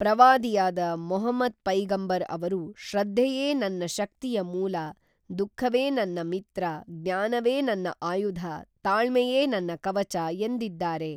ಪ್ರವಾದಿಯಾದ ಮಹಮದ್ ಪೈಗಂಬರ್ ಅವರು ಶ್ರದ್ಧೆಯೇ ನನ್ನ ಶಕ್ತಿಯ ಮೂಲ ದುಃಖವೇ ನನ್ನ ಮಿತ್ರ ಜ್ನಾನವೇ ನನ್ನ ಆಯುಧ ತಾಳ್ಮೆಯೇ ನನ್ನ ಕವಚ ಎಂದಿದ್ದಾರೆ.